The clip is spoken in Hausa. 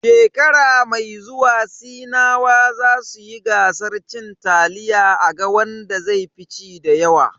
Shekara mai zuwa sinawa zasu yi gasar cin taliya a ga wanda zai fi ci dayawa.